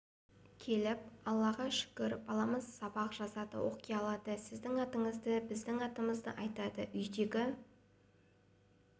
келіп аллаға шүкір баламыз сабақ жазады оқи алады сіздің атыңызды біздің атымызды айтады үйдегі